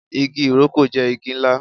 Igi ìrókò jé igi ńlá